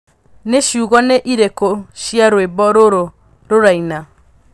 nĩ ciugo nĩ irĩkũ cia rwĩmbo rũrũ rũraina